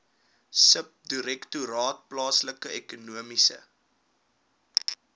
subdirektoraat plaaslike ekonomiese